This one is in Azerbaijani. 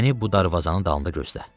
Məni bu darvazanın dalında gözlə.